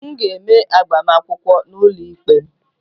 M ga-eme agbamakwụkwọ n'ụlọikpe